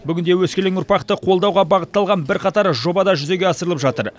бүгінде өскелең ұрпақты қолдауға бағытталған бірқатар жоба да жүзеге асырылып жатыр